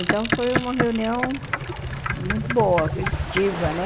Então, foi uma reunião muito boa, festiva, né?